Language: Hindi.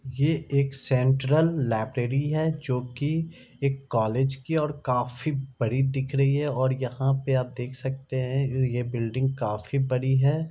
ये एक सेंट्रल लाइब्रेरी है जो की एक कॉलेज की और काफी बड़ी दिख रही है| और यहाँ पे आप देख सकते हैं ये बिल्डिंग काफी बड़ी है।